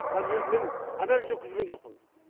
даже мен анализ өткізген жоқпын